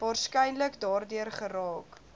waarskynlik daardeur geraak